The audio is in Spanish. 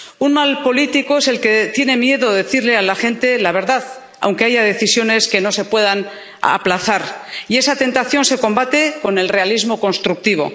Un mal político es el que tiene miedo de decirle a la gente la verdad aunque haya decisiones que no se puedan aplazar, y esa tentación se combate con el realismo constructivo.